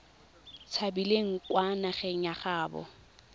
tshabileng kwa nageng ya gaabo